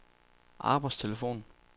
arbejdstelefon